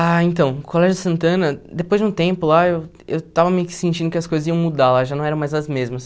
Ah, então, o Colégio Santana, depois de um tempo lá, eu eu estava meio que sentindo que as coisas iam mudar lá, já não eram mais as mesmas.